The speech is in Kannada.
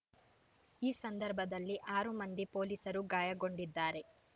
ಈ ಸಂದರ್ಭದಲ್ಲಿ ಆರು ಮಂದಿ ಪೊಲೀಸರು ಗಾಯಗೊಂಡಿದ್ದಾರೆ